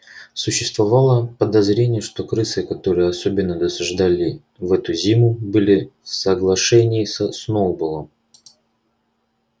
существовало подозрение что крысы которые особенно досаждали в эту зиму были в соглашении со сноуболлом